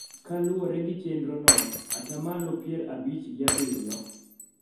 Kaluwore gi chenrono, atamalo pier abich gi abiriyo